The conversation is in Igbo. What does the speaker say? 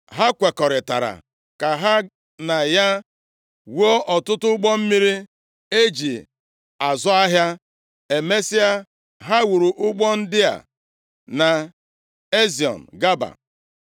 Ha kwekọrịtara ka ha na ya wuo ọtụtụ ụgbọ mmiri e ji azụ ahịa. Emesịa, ha wuru ụgbọ ndị a nʼEziọn Geba.